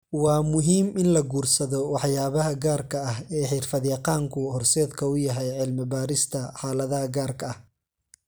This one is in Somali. Waa muhiim in la guursado waxyaabaha gaarka ah ee xirfad-yaqaanku horseedka u yahay cilmi-baarista xaaladaha gaarka ah.